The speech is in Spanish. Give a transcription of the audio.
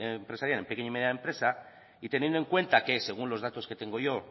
empresarial en pequeña y mediana empresa y teniendo en cuenta que según los datos que tengo yo